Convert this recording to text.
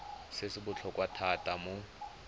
se se botlhokwa thata mo